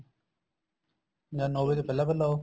ਜਾਂ ਨੋ ਵਜੇ ਤੋਂ ਪਹਿਲਾਂ ਪਹਿਲਾਂ ਆਉ